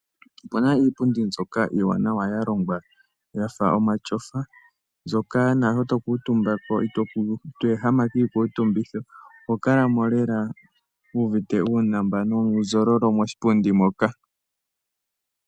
Opu na iipundi mbyoka iiwanawa ya longwa ya fa omatyofa, mbyoka naashoka to kuutumba ko, ito ehama kiikutumbitho. Oho kala ko wu uvite uunambano koshipundi hoka.